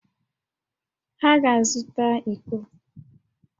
Ha ga-azụta íkó